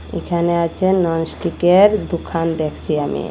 এখানে আছে ননস্টিকের দোকান দেখসি আমি।